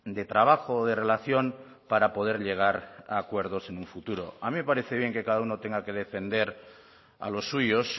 de trabajo de relación para poder llegar a acuerdos en un futuro a mí me parece bien que cada uno tenga que defender a los suyos